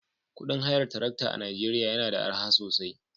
Kudin hayar tarakta a Najeriya yana da arha sosai